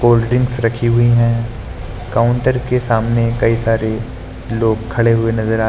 cold drinks रखी हुई हैं काउंटर के सामने कई सारे लोग खड़े हुए नजर आ--